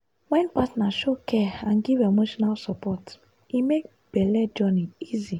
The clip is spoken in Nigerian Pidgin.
wen partner show care and give emotional support e make belle journey easy.